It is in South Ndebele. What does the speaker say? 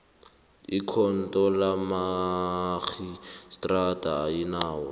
ikhotho kamarhistrada ayinawo